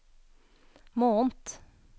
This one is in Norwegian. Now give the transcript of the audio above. måned